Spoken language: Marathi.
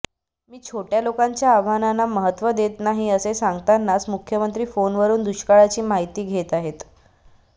मी छोटय़ा लोकांच्या आव्हानांना महत्त्व देत नाही असे सांगतानाच मुख्यमंत्री फोनवरून दुष्काळाची माहिती घेत आहेत